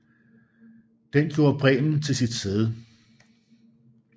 Denne gjorde Bremen til sit sæde